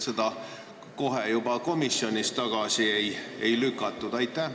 Kuidas seda komisjonis kohe tagasi ei lükatud?